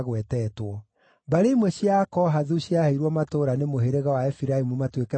Mbarĩ imwe cia Akohathu ciaheirwo matũũra nĩ mũhĩrĩga wa Efiraimu matuĩke bũrũri wao.